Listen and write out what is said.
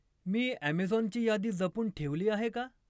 मी अॅमेझॉनची यादी जपून ठेवली आहे का?